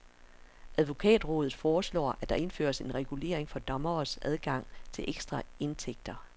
Advokatrådet foreslår, at der indføres en regulering for dommeres adgang til ekstraindtægter.